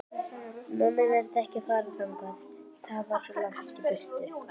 Nonni nennti ekki að fara þangað, það var svo langt í burtu.